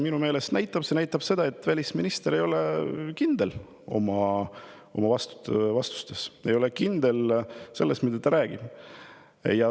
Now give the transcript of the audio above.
Minu meelest näitab see seda, et välisminister ei ole kindel oma vastustes, ta ei ole kindel selles, mida ta räägib.